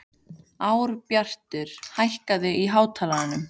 Árbjartur, hækkaðu í hátalaranum.